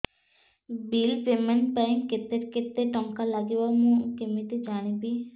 bill payment ପାଇଁ କେତେ କେତେ ଟଙ୍କା ଲାଗିବ କେମିତି ଜାଣିବି